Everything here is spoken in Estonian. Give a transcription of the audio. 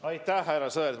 Aitäh, härra Sõerd!